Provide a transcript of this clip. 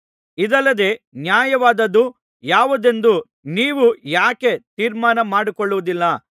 ಇದಲ್ಲದೆ ನ್ಯಾಯವಾದದ್ದು ಯಾವುದೆಂದು ನೀವೇ ಯಾಕೆ ತೀರ್ಮಾನ ಮಾಡಿಕೊಳ್ಳುವುದಿಲ್ಲ